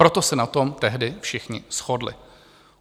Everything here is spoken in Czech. Proto se na tom tehdy všichni shodli.